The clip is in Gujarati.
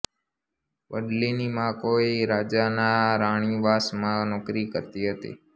ભડલીની મા કોઈ રાજાના રાણીવાસમાં નોકરી કરતી હતી